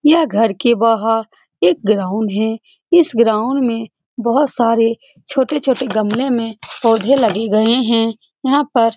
यह घर के बाहर एक ग्राउंड है इस ग्राउंड में बहुत सारे छोटे-छोटे गमले में पौधे लगे गए हैं यहाँ पर --